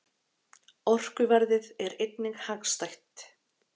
Orkuverðið er einnig hagstætt.